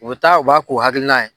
O bɛ taa u b'a k'u hakilina ye.